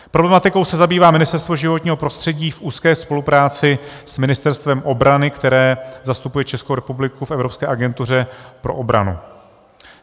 Problematikou se zabývá Ministerstvo životního prostředí v úzké spolupráci s Ministerstvem obrany, které zastupuje Českou republiku v Evropské agentuře pro obranu.